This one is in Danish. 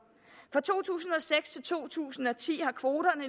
fra to tusind og seks til to tusind og ti har kvoterne